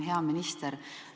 Hea minister!